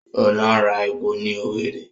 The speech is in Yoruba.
Óńlọ ra epo ní Owerri